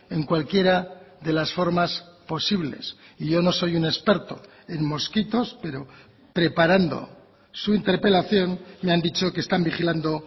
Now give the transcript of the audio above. en cualquiera de las formas posibles y yo no soy un experto en mosquitos pero preparando su interpelación me han dicho que están vigilando